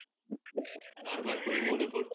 বার বার করে মনে পরছে